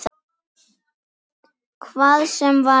Hvað sem það var.